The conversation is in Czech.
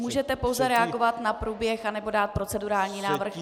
Můžete pouze reagovat na průběh nebo dát procedurální návrh.